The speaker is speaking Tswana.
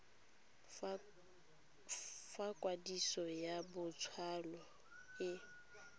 fa kwadiso ya botsalo e